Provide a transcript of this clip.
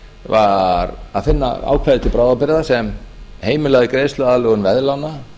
var að finna ákvæði til bráðabirgða sem heimilaði greiðsluaðlögun veðlána